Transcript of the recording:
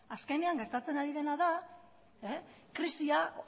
azkenean gertatzen ari dena da krisia